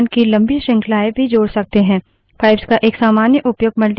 pipes का एक सामान्य उपयोग multipage displays प्रदर्शन पढ़ने के लिए किया जाता है